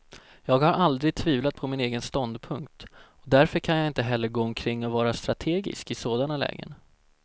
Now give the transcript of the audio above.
Jag har aldrig tvivlat på min egen ståndpunkt, och därför kan jag inte heller gå omkring och vara strategisk i sådana lägen.